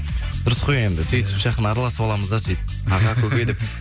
дұрыс қой енді сөйтіп жақын араласып аламыз да сөйтіп аға көке деп